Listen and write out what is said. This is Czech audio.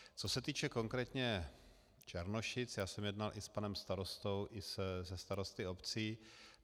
Co se týče konkrétně Černošic, já jsem jednal i s panem starostou i se starosty obcí.